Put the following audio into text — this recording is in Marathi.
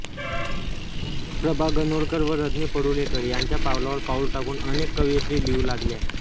प्रभा गणोरकर रजनी परुळेकर यांच्या पावलावर पाऊल टाकून अनेक कवयित्री लिहू लागल्या